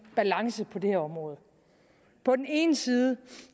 balance på det her område på den ene side